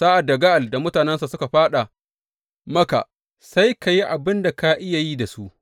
Sa’ad da Ga’al da mutanensa suka faɗa maka, sai ka yi abin da ka iya yi da su.